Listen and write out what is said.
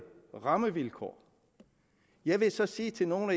rammevilkår jeg vil så sige til nogle